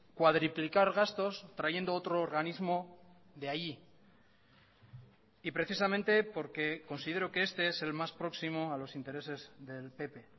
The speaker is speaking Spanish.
cuadriplicar gastos trayendo otro organismo de allí y precisamente porque considero que este es el más próximo a los intereses del pp